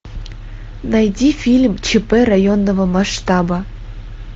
найди фильм чп районного масштаба